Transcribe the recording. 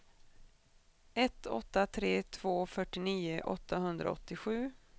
ett åtta tre två fyrtionio åttahundraåttiosju